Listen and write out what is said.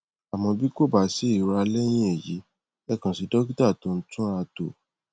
àmọ bí kò bá sí ìura lẹyìn èyí ẹ kàn sí dọkítà tó ń túnratò